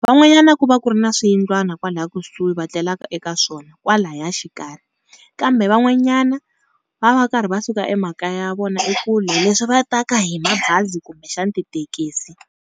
Van'wanyana ku va ku ri na swiyindlwana kwala kusuhi va tlelaka eka swona kwalaya xikarhi, kambe van'wanyana va va karhi va suka emakaya ya vona ekule leswi va ta ka hi mabazi kumbe xana tithekisi.